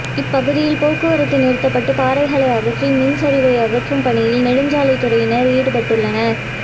இப்பகுதியில் போக்குவரத்து நிறுத்தப்பட்டு பாறைகளை அகற்றி மண் சரிவை அகற்றும் பணியில் நெடுஞ்சாலை துறையினர் ஈடுபட்டுள்ளனர்